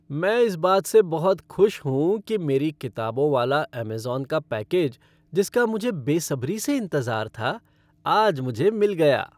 मैं इस बात से बहुत खुश हूँ कि मेरी किताबों वाला अमेज़न का पैकेज जिसका मुझे बेसब्री से इंतज़ार था, आज मुझे मिल गया।